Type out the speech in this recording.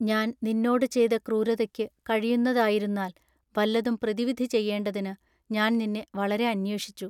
ഞാൻ നിന്നോടു ചെയ്തു ക്രൂരതയ്ക്കു കഴിയുന്നതായിരുന്നാൽ വല്ലതും പ്രതിവിധി ചെയ്യെണ്ടതിനു ഞാൻ നിന്നെ വളരെ അന്വേഷിച്ചു.